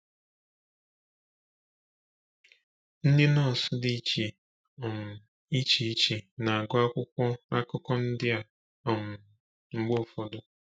Ndị nọọsù dị iche um iche iche na-agụ akwụkwọ akụkọ ndị um a um mgbe ụfọdụ.